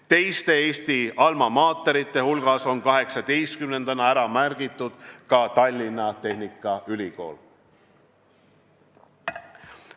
Teise Eesti alma mater'ina on 18-ndana ära märgitud Tallinna Tehnikaülikool.